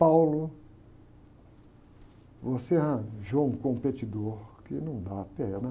você arranjou um competidor que não dá pé, né?